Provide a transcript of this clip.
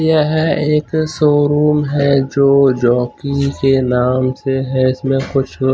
यह एक शोरूम है जो जॉकी के नाम से है इसमें कुछ--